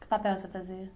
Que papel você fazia?